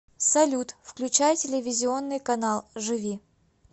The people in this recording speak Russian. салют включай телевизионный канал живи